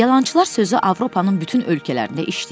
Yalançılar sözü Avropanın bütün ölkələrində işləyib.